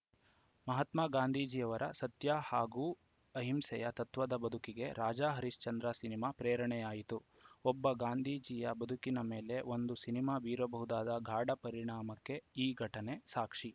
ಮಹಾತ್ಮ ಗಾಂಧೀಜಿಯವರ ಸತ್ಯ ಹಾಗೂ ಅಹಿಂಸೆಯ ತತ್ವದ ಬದುಕಿಗೆ ರಾಜಾ ಹರಿಶ್ಚಂದ್ರ ಸಿನಿಮಾ ಪ್ರೇರಣೆಯಾಯಿತು ಒಬ್ಬ ಗಾಂಧೀಜಿಯ ಬದುಕಿನ ಮೇಲೆ ಒಂದು ಸಿನಿಮಾ ಬೀರಬಹುದಾದ ಗಾಢ ಪರಿಣಾಮಕ್ಕೆ ಈ ಘಟನೆ ಸಾಕ್ಷಿ